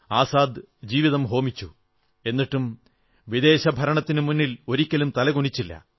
ആസാദ് ജീവിതം ഹോമിച്ചു എന്നിട്ടും വിദേശ ഭരണത്തിനുമുന്നിൽ ഒരിക്കലും തല കുനിച്ചില്ല